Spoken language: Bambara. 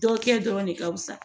Dɔ kɛ dɔrɔn ne ka fisa